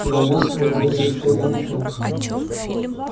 его мозг был выжат как губка